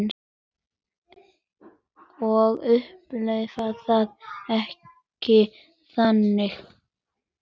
Ég upplifi það ekki þannig.